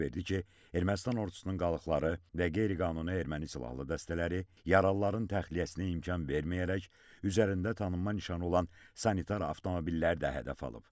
İfadə verdi ki, Ermənistan ordusunun qalıqları və qeyri-qanuni erməni silahlı dəstələri yaralıların təxliyəsinə imkan verməyərək üzərində tanınma nişanı olan sanitar avtomobillər də hədəf alıb.